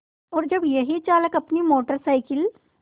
और जब यही चालक अपनी मोटर साइकिल